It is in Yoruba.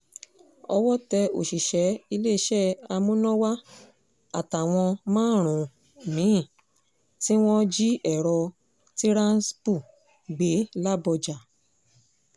owó tẹ òṣìṣẹ́ iléeṣẹ́ amúnáwá àtàwọn márùn-ún mi-ín tí wọ́n jí èrò tiransmple gbé làbójà